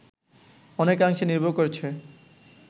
অনেকাংশে নির্ভর করছে